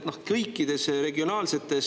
kõikides regionaalsetes mõõtmetes.